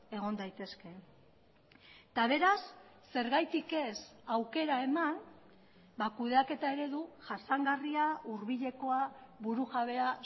egon daitezke eta beraz zergatik ez aukera eman kudeaketa eredu jasangarria hurbilekoa burujabea